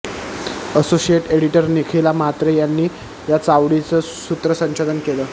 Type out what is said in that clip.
associate editor Nikhila Mhatre यांनी या चावडीचं सूत्रसंचलन केलं